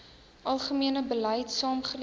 algemene beleid saamgelees